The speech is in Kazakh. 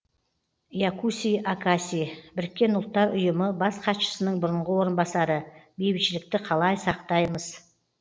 якуси акаси біріккен ұлттар ұйымы бас хатшысының бұрынғы орынбасары бейбітшілікті қалай сақтаймыз